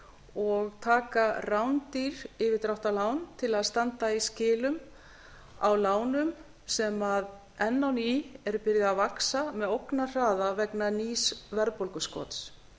og taka rándýr yfirdráttarlán til að standa í skilum á lánum sem enn á ný eru byrjuð að vaxa með ógnarhraða vegna nýs verðbólguskots